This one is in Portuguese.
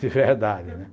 De verdade, né?